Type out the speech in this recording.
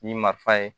Ni ma fa ye